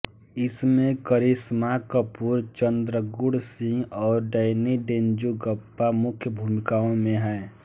इसमें करिश्मा कपूर चन्द्रचूढ़ सिंह और डैनी डेन्जोंगपा मुख्य भूमिकाओं में हैं